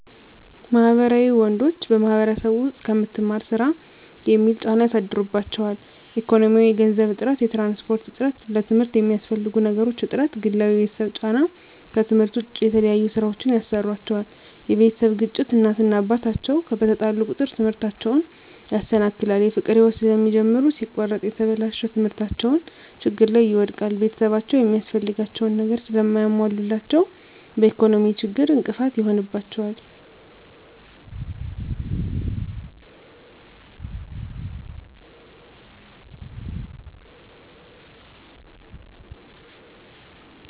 ማህበራዊ ወንዶች በማህበረሰቡ ዉስጥ ከምትማር ስራ የሚል ጫና ያሳድሩባቸዋል። ኢኮኖሚያዊ የገንዘብ እጥረት፣ የትራንስፖርት እጥረት፣ ለትምርት የሚያስፈልጉ ነገሮች እጥረት፣ ግላዊ የቤተሰብ ጫና ከትምህርት ዉጭ የተለያዩ ስራወችን ያሰሩአቸዋል የቤተሰብ ግጭት እናት እና አባት አቸዉ በተጣሉ ቁጥር ትምህርታቸዉን ያሰናክላል። የፍቅር ህይወት ስለሚጀምሩ ሲቆረጥ የተበላሸ ትምህርታቸዉን ችግር ላይ ይወድቃል። ቤተሰብአቸዉ የሚያስፈልጋቸዉን ነገር ስለማያሞሉላቸዉ በኢኮኖሚ ችግር እንቅፋት ይሆንባቸዋል።